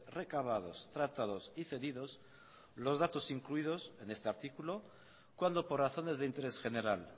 recabados tratados y cedidos los datos incluidos en este artículo cuando por razones de interés general